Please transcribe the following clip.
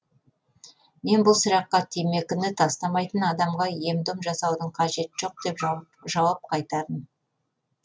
мен бұл сұраққа темекіні тастамайтын адамға ем дом жасаудың қажеті жоқ деп жауап қайтардым